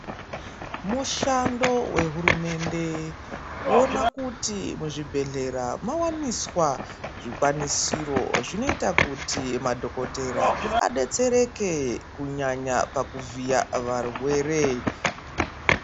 Mushando wehurumende kuona kuti muzvibhedhlera muwaniswa zvikwanisiro zvinoita kuti madhokotera adetsereke kunyanya pakuvhiya varwere.